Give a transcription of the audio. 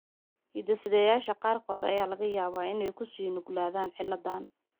Hidde-sideyaasha qaarkood ayaa laga yaabaa inay kuu sii nuglaadaan cilladda.